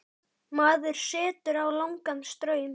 Maður setur á lágan straum.